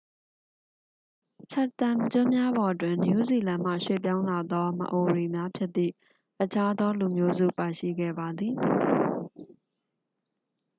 chatham ကျွန်းများပေါ်တွင် နယူးဇီလန်မှ ရွှေ့ပြောင်းလာသော မအိုရီ များဖြစ်သည့် အခြားသောလူမျိုးစုပါရှိခဲ့ပါသည်